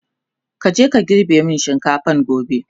kaje ka girbe min shinkafan gobe!